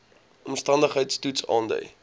omstandigheids toets aandui